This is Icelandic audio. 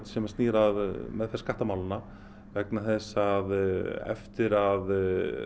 sem snýr að meðferð skattamálanna vegna þess að eftir að